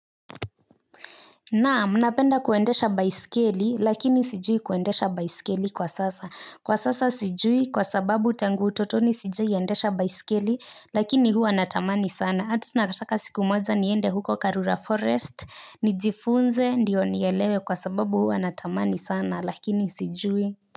Naam napenda kuendesha baisikeli lakini sijui kuendesha baisikeli kwa sasa kwa sasa sijui kwa sababu tangu utotoni sijaiendesha baisikeli lakini huwa natamani sana ata nataka siku moja niende huko karura forest nijifunze ndiyo nielewe kwa sababu huwa natamani sana lakini sijui.